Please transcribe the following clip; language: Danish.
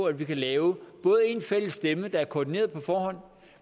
at vi kan lave både én fælles stemme der er koordineret på forhånd